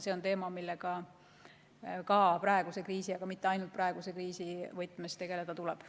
See on teema, millega ka praeguse kriisi, aga mitte ainult praeguse kriisi võtmes tegeleda tuleb.